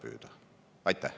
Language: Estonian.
Aitäh!